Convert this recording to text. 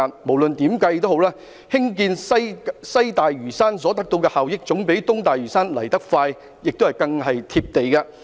無論如何，建設西大嶼山所得的效益，總比建設東大嶼山來得快和更為"貼地"。